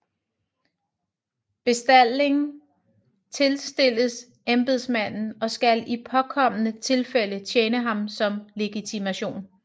Bestalling tilstilles embedsmanden og skal i påkommende tilfælde tjene ham som legitimation